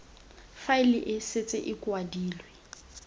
faele e setse e kwadilwe